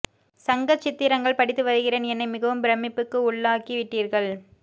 சங்கச் சித்திரங்கள் படித்து வருகிறேன் என்னை மிகவும் பிரமிப்புக்கு உள்ளாக்கி விட்டீர்கள்